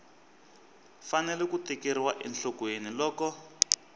fanele ku tekeriwa enhlokweni loko